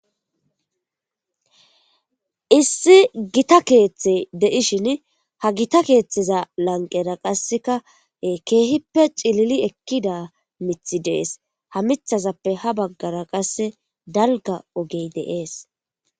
Issi gita keeththe deishin ha gita keeththeza lanqera qassekae keehippe cilili ekkida mithi dees ha mithazappe ha baggara qasse dalga ogey deees.